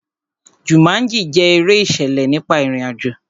Jumanji jẹ́ eré ìṣẹ̀lẹ̀ nípa ìrìn àjò.